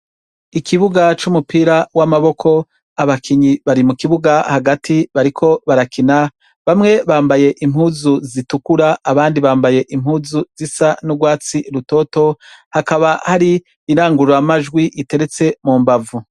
Ikibuga c'umupira w'amaboko abakinyi bari mu kibuga hagati bariko barakina, bamwe bambaye impuzu zitukura abandi bambaye impuzu zisa n'urwatsi rubisi, hakaba hari irangururamajwi iteretse mu mbavu.